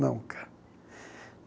Nunca